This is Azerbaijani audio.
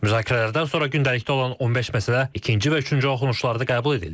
Müzakirələrdən sonra gündəlikdə olan 15 məsələ ikinci və üçüncü oxunuşlarda qəbul edildi.